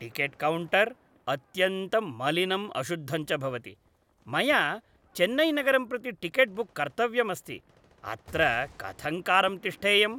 Ticket counter अत्यन्तं मलिनं अशुद्धं च भवति, मया चेन्नैनगरं प्रति टिकेट् बुक् कर्तव्यमस्ति, अत्र कथङ्कारं तिष्ठेयम्?